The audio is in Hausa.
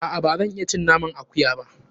A'a, ba zan iya cin naman akuya ba.